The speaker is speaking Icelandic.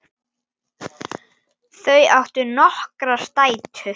Þau áttu nokkrar dætur.